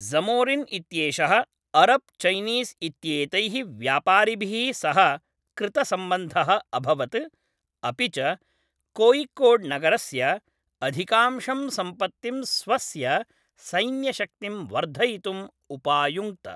ज़मोरिन् इत्येषः अरब् चैनीस् इत्येतैः व्यापारिभिः सह कृतसम्बन्धः अभवत् अपि च कोय़िकोड्नगरस्य अधिकांशां सम्पत्तिं स्वस्य सैन्यशक्तिं वर्धयितुम् उपायुङ्क्त।